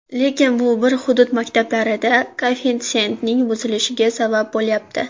Lekin bu bir hudud maktablarida koeffitsiyentning buzilishiga sabab bo‘lyapti.